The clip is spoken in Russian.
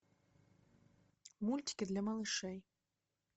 мультики для малышей